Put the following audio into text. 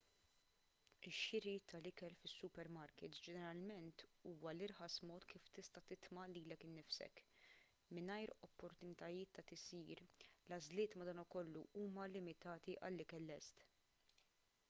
ix-xiri tal-ikel fis-supermarkits ġeneralment huwa l-irħas mod kif tista' titma' lilek innifsek mingħajr opportunitajiet ta' tisjir l-għażliet madankollu huma limitati għal ikel lest